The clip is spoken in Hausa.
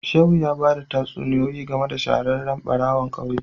Shehu ya bada tatsuniyoyi game da shahararren barawon kauye